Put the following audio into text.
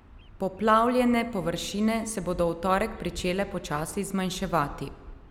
Poplavljene površine se bodo v torek pričele počasi zmanjševati.